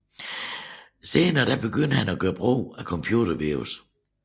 Senere begyndte han at gøre brug af computervirus